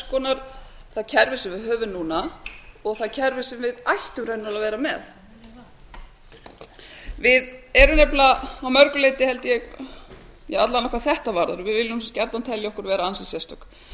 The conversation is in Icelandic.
konar það kerfi sem við höfum núna og það kerfi sem við ættum raunar að vera með við erum nefnilega að mörgu leyti alla vega hvað þetta varðar við viljum gjarnan telja okkur vera ansi sérstök